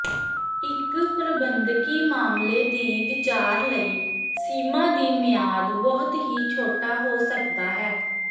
ਇੱਕ ਪ੍ਰਬੰਧਕੀ ਮਾਮਲੇ ਦੀ ਵਿਚਾਰ ਲਈ ਸੀਮਾ ਦੀ ਮਿਆਦ ਬਹੁਤ ਹੀ ਛੋਟਾ ਹੋ ਸਕਦਾ ਹੈ